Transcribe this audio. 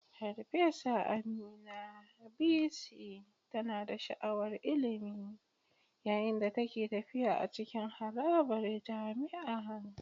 Farfesa Amina, VC, tana da sha'awar ilimi yayin da take tafiya a cikin harabar jami'a.